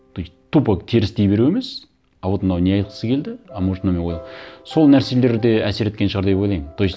тупо теріс дей беру емес а вот мынау не айтқысы келді а может мынау мен сол нәрселер де әсер еткен шығар деп ойлаймын то есть